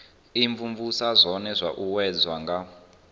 imvumvusa zwone zwo uuwedzwa nga